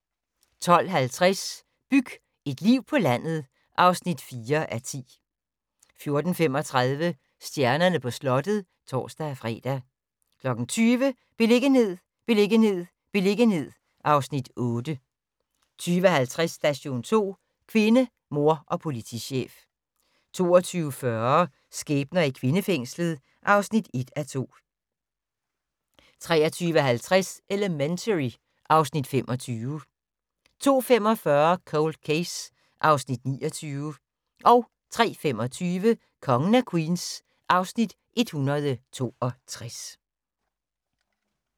12:50: Byg et liv på landet (4:10) 14:35: Stjernerne på slottet (tor-fre) 20:00: Beliggenhed, beliggenhed, beliggenhed (Afs. 8) 20:50: Station 2: Kvinde, mor og politichef 22:40: Skæbner i kvindefængslet (1:2) 23:30: Elementary (Afs. 25) 02:45: Cold Case (Afs. 29) 03:25: Kongen af Queens (Afs. 162)